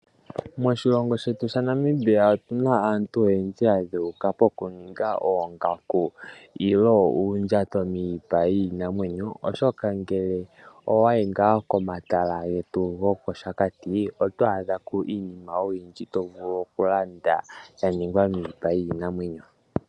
Moshilongo shetu sha Namibia otuna aantu oyendji ya dheuka pokuninga oongaku nenge uundjato miipa yiinamwenyo, oshoka owayi ngaa komatala getu go kOshakati oto adha ko iinima oyindji to vulu okulanda, sha ningwa miipa yiinamwenyo.